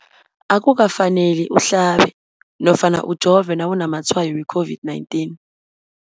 Akuka faneli uhlabe nofana ujove nawu namatshayo we-COVID-19.